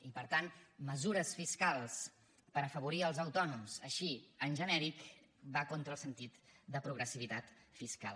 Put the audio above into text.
i per tant mesures fiscals per afavorir els autònoms així en genèric van contra el sentit de progressivitat fiscal